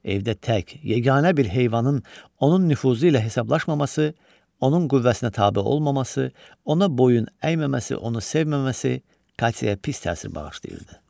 Evdə tək, yeganə bir heyvanın onun nüfuzu ilə hesablaşmaması, onun qüvvəsinə tabe olmaması, ona boyun əyməməsi, onu sevməməsi Katyaya pis təsir bağışlayırdı.